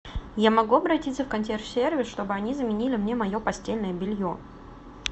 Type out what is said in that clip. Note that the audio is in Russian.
я могу обратиться в консьерж сервис чтобы они заменили мне мое постельное белье